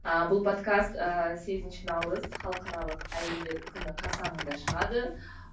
ы бұл подкаст ыыы сегізінші наурыз халықаралық әйелдер күні қарсаңында шығады